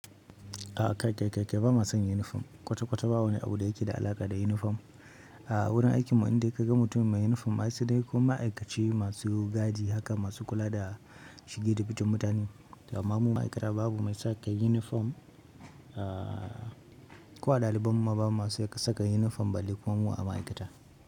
A'a kai kai kai ba ma son yunifom. Kwata-kwata babu wani abu da yake da alaƙa da yunifom. A wurin aikinmu indai kaga mutum mai yunifom ai sai dai ko ma'aikaci masu gadi haka masu kula da shige da ficen mutane amma mu ma'aikata babu mai saka yunifom. Ko a ɗalibanmu ma babu masu saka yunifom balle kuma mu ma'aikata.